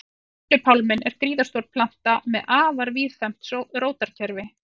Döðlupálminn er gríðarstór planta með afar víðfeðmt rótarkerfi.